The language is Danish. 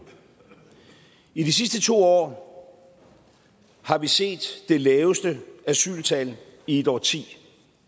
i de sidste to år har vi set det laveste asyltal i et årti